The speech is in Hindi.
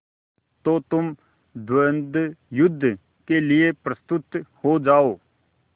तो तुम द्वंद्वयुद्ध के लिए प्रस्तुत हो जाओ